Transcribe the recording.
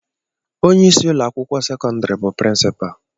Onyeisi ụlọakwụkwọ sekọndịrị bụ prịnsịpal